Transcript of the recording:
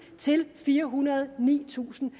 til firehundrede og nitusind